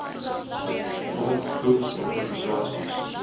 front poog organisasies